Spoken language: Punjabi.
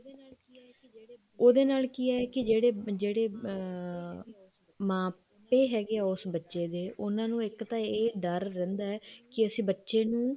ਉਹਦੇ ਨਾਲ ਕੀ ਹੈ ਕੀ ਜਿਹੜੇ ਜਿਹੜੇ ਅਮ ਮਾਪੇ ਹੈਗੇ ਆ ਉਸ ਬੱਚੇ ਦੇ ਉਹਨਾ ਨੂੰ ਇੱਕ ਤਾਂ ਇਹ ਦਰ ਰਹਿੰਦਾ ਕੇ ਅਸੀਂ ਬੱਚੇ ਨੂੰ